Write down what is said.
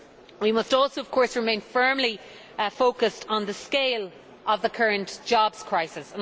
We must also, of course, remain firmly focused on the scale of the current jobs crisis.